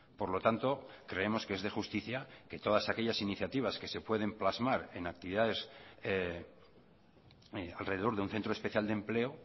por lo tanto creemos que es de justicia que todas aquellas iniciativas que se pueden plasmar en actividades alrededor de un centro especial de empleo